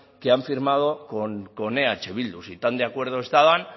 que han firmado con eh bildu si tan de acuerdo estaban